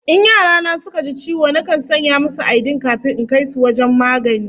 In yara na suka ji ciwo, nakan sanya musu aidin kafin in kai su wajen magani